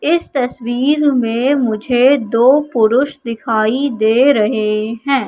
इस तस्वीर में मुझे दो पुरुष दिखाई दे रहे हैं।